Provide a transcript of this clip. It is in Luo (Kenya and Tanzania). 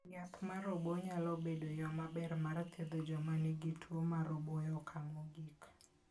Yath mar obo nyalo bedo yo maber mar thiedho joma nigi tuwo mar obo e okang' mogik.